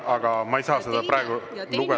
Aga ma ei saa seda praegu lugeda …